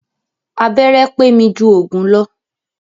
Abẹ́rẹ́ pé mi jù òògùn lọ.